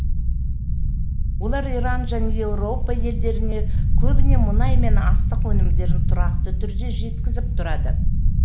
олар иран және еуропа елдеріне көбіне мұнай мен астық өнімдерін тұрақты түрде жеткізіп тұрады